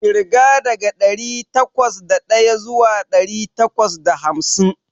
Ƙirga daga ɗari takwas da ɗaya zuwa ɗari takwas da hamsin.